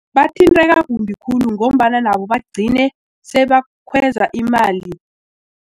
Bathinteka kumbi khulu ngombana nabo bagcine sebakhweza imali.